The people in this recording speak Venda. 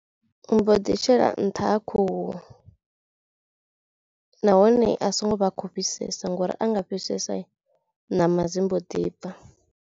U mbo ḓi shela nṱha ha khuhu nahone a so ngo vha khou fhisesa ngori a nga fhisesai ṋama dzi mbo ḓibva.